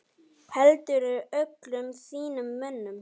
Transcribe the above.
Heldurðu öllum þínum mönnum?